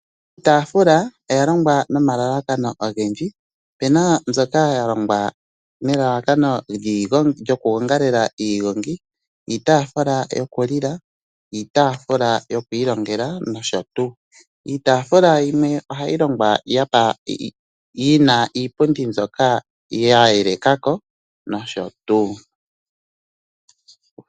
Iitafula oya longwa no malalakano ogendji opena mbyoka yalongwa nelalakano lyo ku gongalela iigongi , iitafula yo ku lila, iitafula yo kwiilongela no shotuu. Iitafula yimwe ohayi longwa yina iipundi mbyoka yayelekako no shotuu.